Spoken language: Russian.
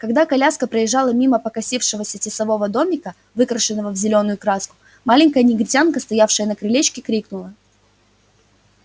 когда коляска проезжала мимо покосившегося тесового домика выкрашенного в зелёную краску маленькая негритянка стоявшая на крылечке крикнула